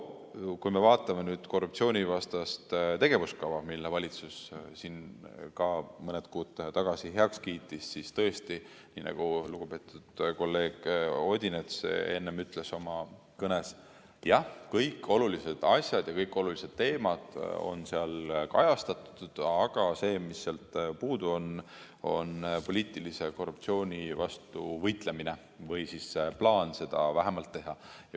Kui me vaatame korruptsioonivastast tegevuskava, mille valitsus siin mõni kuu tagasi heaks kiitis, siis tõesti, nii nagu lugupeetud kolleeg Odinets enne ütles oma kõnes: kõik olulised asjad ja kõik olulised teemad on seal kajastatud, aga see, mis sealt puudu on, on poliitilise korruptsiooni vastu võitlemine või vähemalt plaan seda teha.